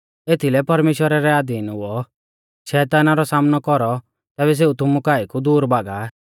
एथीलै परमेश्‍वरा रै अधीन हुऔ शैताना रौ सामनौ कौरौ तैबै सेऊ तुमु काऐ कु दूर भागा